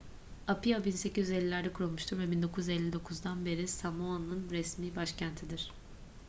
apia 1850'lerde kurulmuştur ve 1959'dan beri samoa'nın resmi başkentidir